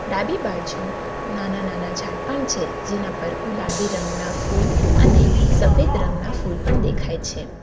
ડાબી બાજુ નાના નાના ઝાડ પાન છે જેના પર ગુલાબી રંગના ફૂલ અને સફેદ રંગના ફૂલ પણ દેખાય છે.